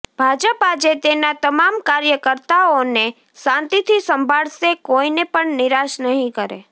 ભાજપ આજે તેના તમામ કાર્યકર્તાઓને શાંતીથી સાંભળશે કોઇને પણ નિરાશ નહીં કરે